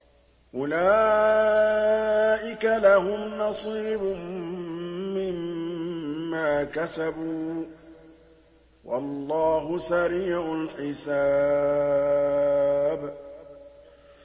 أُولَٰئِكَ لَهُمْ نَصِيبٌ مِّمَّا كَسَبُوا ۚ وَاللَّهُ سَرِيعُ الْحِسَابِ